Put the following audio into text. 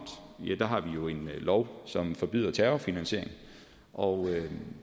har vi jo en lov som forbyder terrorfinansiering og